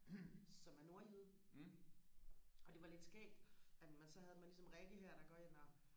som er nordjyde og det var lidt skægt at man så havde man ligesom Rikke der går ind her og